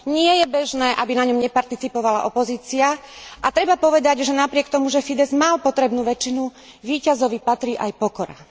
Nie je bežné, aby na ňom neparticipovala opozícia, a treba povedať, že napriek tomu, že Fidezs mal potrebnú väčšinu, víťazovi patrí aj pokora.